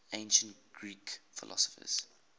ancient greek philosophers